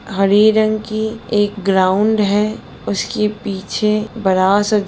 हरे रंग की एक ग्राउन्ड है उसके पीछे बड़ा सा--